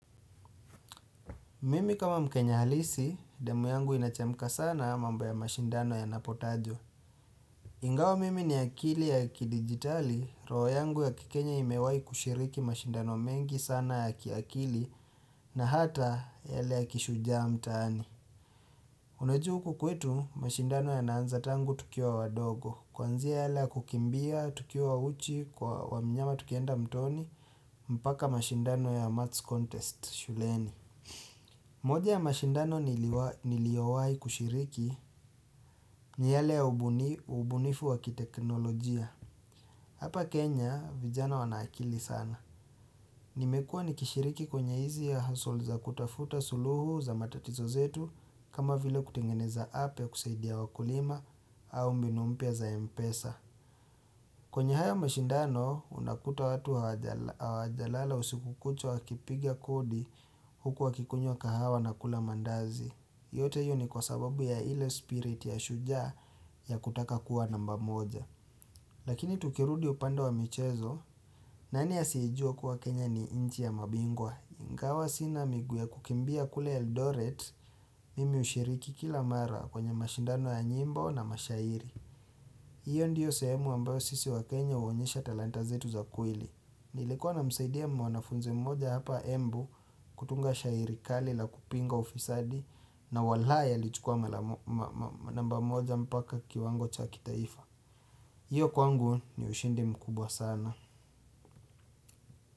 Mimi kama mkenya halisi, damu yangu inachemka sana mambo ya mashindano ya napotajwa. Ingawa mimi ni akili ya kidigitali, roho yangu ya kikenya imewai kushiriki mashindano mengi sana ya kiakili na hata yale ya kishujaa mtaani. Unajua huku kwetu mashindano yanaanza tangu tukiwa wadogo. Kwanzia yale kukimbia, tukiwa uchi, kwa wa mnyama tukienda mtoni, mpaka mashindano ya maths contest shuleni. Moja ya mashindano niliowai kushiriki ni yale ya ubunifu wakiteknolojia. Hapa Kenya vijana wana akili sana. Nimekuwa nikishiriki kwenye hizi ya hustle za kutafuta suluhu za matatizo zetu kama vile kutengeneza app ya kusaidia wakulima au mbinu mpya za mpesa. Kwenye haya mashindano unakuta watu hawajalala usiku kucha wakipiga kodi huku wakikunywa kahawa na kula mandazi. Yote hiyo ni kwa sababu ya ile spirit ya shujaa ya kutaka kuwa namba moja. Lakini tukirudi upande wa michezo, nani asiyejua kuwa Kenya ni nchi ya mabingwa? Ingawa sina miguu ya kukimbia kule Eldoret, mimi hushiriki kila mara kwenye mashindano ya nyimbo na mashairi. Hiyo ndiyo sehemu ambayo sisi wa Kenya huonyesha talanta zetu za kweli. Nilekuwa namsaidia mwanafunzi mmoja hapa embu kutunga shairi kali la kupinga ufisadi na walai alichukua namba moja mpaka kiwango cha kitaifa. Hiyo kwangu ni ushindi mkubwa sana.